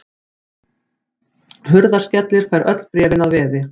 Hurðaskellir fær öll bréfin að veði.